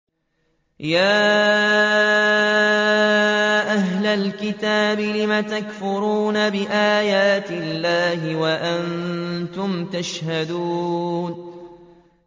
يَا أَهْلَ الْكِتَابِ لِمَ تَكْفُرُونَ بِآيَاتِ اللَّهِ وَأَنتُمْ تَشْهَدُونَ